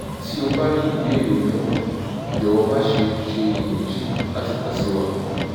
tí o bá ní ìbéèrè mìíràn jọ̀wọ́ má ṣe ṣe iyèméjì láti kan sí wa